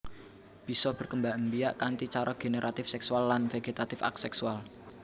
Bisa berkembangbiak kanthi cara generatif seksual lan vegetatif aseksual